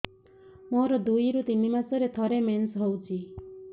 ମୋର ଦୁଇରୁ ତିନି ମାସରେ ଥରେ ମେନ୍ସ ହଉଚି